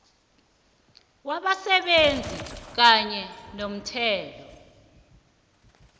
wabasebenzi kanye nomthelo